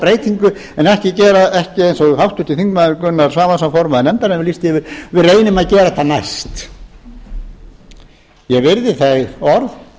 breytingu en ekki gera eins og háttvirtir þingmenn gunnar svavarsson formaður nefndarinnar lýsti yfir við reynum að gera það næst ég virði þau orð